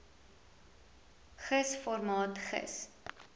gis formaat gis